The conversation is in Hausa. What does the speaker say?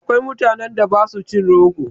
Akwai mutanen da ba su cin rogo.